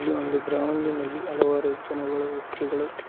ಈ ಒಂದು ಗ್ರೌಂಡಿನಲ್ಲಿ ಹಲವಾರು ಜನಗಳು ವ್ಯಕ್ತಿಗಳು--